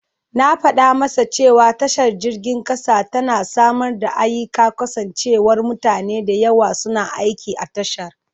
Na fada masa cewa tashar jirgin kasa tana samar da ayyika kasancewar mutane da yawa suna aiki a tashar.